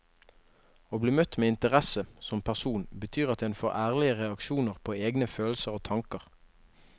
Å bli møtt med interesse som person betyr at en får ærlige reaksjoner på egne følelser og tanker.